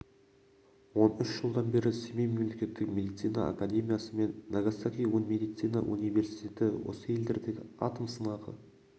он үш жылдан бері семей мемлекеттік медицина акедемиясы мен нагасаки медицина университеті осы елдердегі атом сынағы